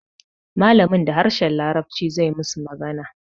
Malamin da harshen larabci zai musu magana